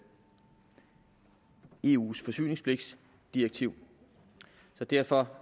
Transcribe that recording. eus forsyningspligtdirektiv så derfor